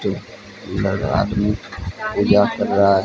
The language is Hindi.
लगा आदमी पूजा कर रहां है।